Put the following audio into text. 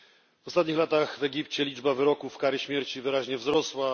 W ostatnich latach w Egipcie liczba wyroków kary śmierci wyraźnie wzrosła.